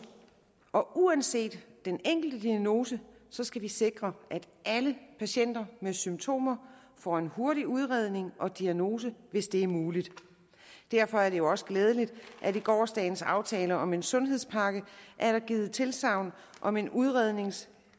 og uanset den enkle diagnose skal vi sikre at alle patienter med symptomer får en hurtig udredning og diagnose hvis det er muligt derfor er det også glædeligt at i gårsdagens aftale om en sundhedspakke er der givet tilsagn om en udrednings